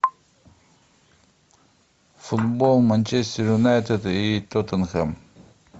футбол манчестер юнайтед и тоттенхэм